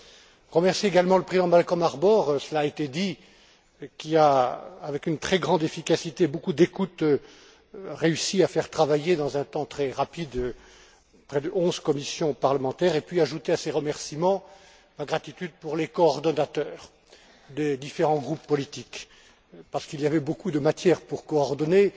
Je voudrais remercier également le président Malcolm Harbour cela a été dit qui a, avec une très grande efficacité et beaucoup d'écoute, réussi à faire travailler dans un temps très rapide près de onze commissions parlementaires, et puis ajouter à ces remerciements ma gratitude pour les coordonnateurs des différents groupes politiques, parce qu'il y avait beaucoup de matières à coordonner